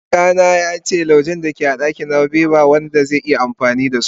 kaka na yace laujen da ke a dakin nawa be ba Wanda zai iya amfani da so